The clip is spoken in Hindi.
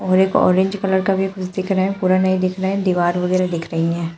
और एक ऑरेंज कलर का भी कुछ दिख रहा है। पूरा नहीं दिख रहा है। दीवार वगैरा दिख रही है।